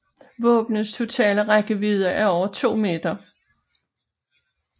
Våbnets totale rækkevidde er over 2 meter